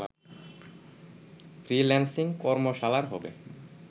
freelancing কর্মশালার হবে